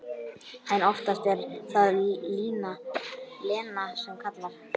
En oftast er það Lena sem kallar.